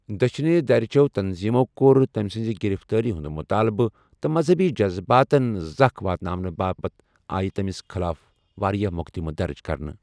دٕچھِنہِ درِ چو٘ تنظیمو کوٚر تمہِ سنزِ گِرفتٲری ہٗند مٗطالبہٕ، تہٕ مذہبی جزباتن ذخ واتناونہٕ باپت آیہِ تٔمِس خٕلاف واریاہ مٗقدِمہٕ درج کرنہٕ۔